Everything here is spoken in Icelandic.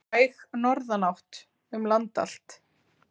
Væg norðanátt um land allt